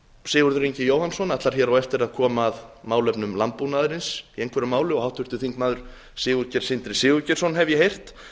sigurður ingi jóhannsson ætlar á eftir að koma að málefnum landbúnaðarins í einhverju máli og háttvirtur þingmaður sigurgeir sindri sigurgeirsson hef ég heyrt